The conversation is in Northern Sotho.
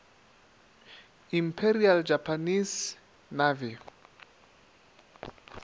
imperial japanese navy